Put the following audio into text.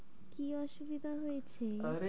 কি অসুবিধা হয়েছে, আরে?